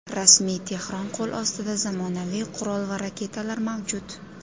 Rasmiy Tehron qo‘l ostida zamonaviy qurol va raketalar mavjud.